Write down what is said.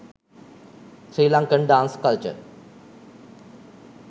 sri lankan dance culture